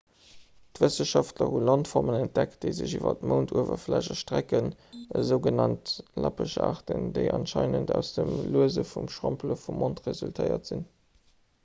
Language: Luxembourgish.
wëssenschaftler hu landformen entdeckt déi sech iwwer d'mounduewerfläch erstrecken esou genannt lappeschaarten déi anscheinend aus dem luese vum schrompele vum mound resultéiert sinn